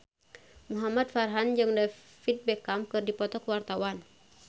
Muhamad Farhan jeung David Beckham keur dipoto ku wartawan